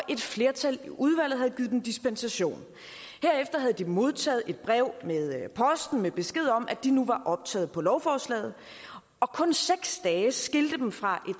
et flertal i udvalget havde givet dem dispensation herefter havde de modtaget et brev med posten med besked om at de nu var optaget på lovforslaget og kun seks dage skilte dem fra